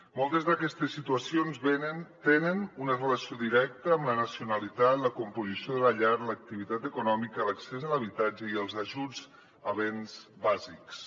moltes d’aquestes situacions tenen una relació directa amb la nacionalitat la composició de la llar l’activitat econòmica l’accés a l’habitatge i els ajuts a béns bàsics